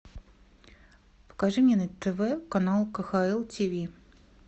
покажи мне на тв канал кхл тв